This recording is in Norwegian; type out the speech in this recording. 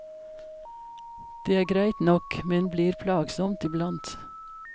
Det er greit nok, men blir plagsomt i blant.